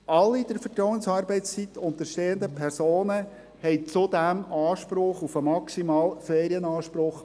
Alle der Vertrauensarbeitszeit unterstehenden Personen haben zudem Anspruch auf die maximalen 33 Ferientage.